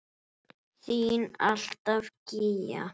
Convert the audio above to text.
Þín alltaf, Gígja.